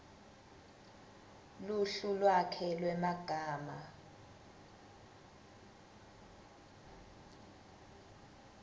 luhlu lwakhe lwemagama